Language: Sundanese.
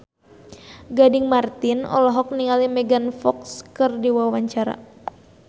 Gading Marten olohok ningali Megan Fox keur diwawancara